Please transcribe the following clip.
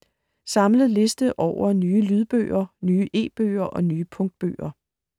Samlet liste over nye lydbøger, nye e-bøger og nye punktbøger